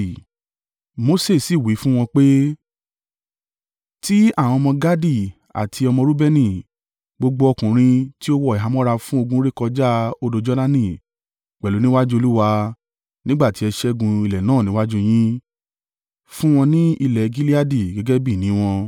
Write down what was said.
Mose sì wí fún wọn pé, “Tí àwọn ọmọ Gadi àti ọmọ Reubeni, gbogbo ọkùnrin tí ó wọ ìhámọ́ra fún ogun rékọjá odò Jordani pẹ̀lú níwájú Olúwa, nígbà tí ẹ ṣẹ́gun ilẹ̀ náà níwájú yín, fún wọn ní ilẹ̀ Gileadi gẹ́gẹ́ bí ìní wọn.